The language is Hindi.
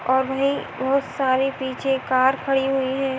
और वही बोहोत सारी पीछे कार खड़ी हुई हैं।